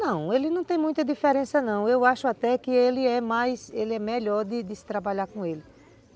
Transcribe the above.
Não, ele não tem muita diferença não, eu acho até que ele é mais, ele é melhor de se trabalhar com ele.